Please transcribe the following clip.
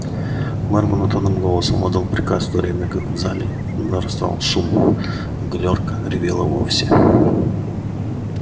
мэр монотонным голосом отдал приказ в то время как в зале нарастал шум а галёрка ревела вовсе